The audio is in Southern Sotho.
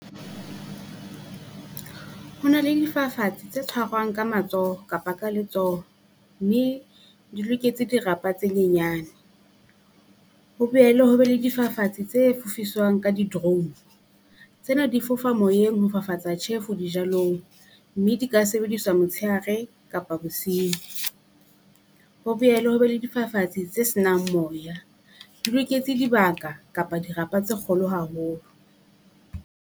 Ho na le difafatsi tse tshwarwang ka matsoho kapa ka letsoho, mme di loketse dirapa tse nyenyane. Ho boele ho be le difafatsi tse fufiswang ka di drone, tsena di fofa moyeng ho fafatsa tjhefu dijalong, mme di ka sebediswa motsheare kapa bosiu. Ho boele ho be le difafatsi tse se nang moya, di loketse dibaka kapa dirapa tse kgolo haholo.